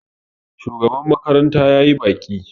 shugaban makaranta ya yi baƙi